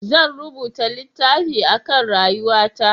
Zan rubuta littafi a kan rayuwa ta